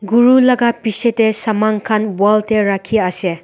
gura na pichey tey saman khan wall tae rakhi ase.